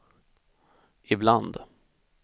ibland